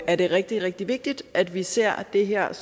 er det rigtig rigtig vigtigt at vi også ser det her